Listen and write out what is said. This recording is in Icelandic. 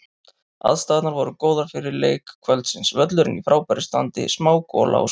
Aðstæðurnar voru góðar fyrir leik kvöldsins, völlurinn í frábæra standi, smá gola og sól.